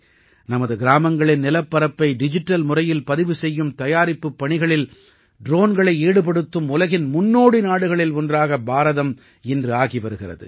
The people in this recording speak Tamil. நமது கிராமங்களின் நிலப்பரப்பை டிஜிட்டல் முறையில் பதிவு செய்யும் தயாரிப்புப் பணிகளில் ட்ரோன்களை ஈடுபடுத்தும் உலகின் முன்னோடி நாடுகளில் ஒன்றாக பாரதம் இன்று ஆகி வருகிறது